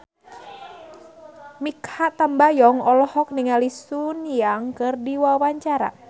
Mikha Tambayong olohok ningali Sun Yang keur diwawancara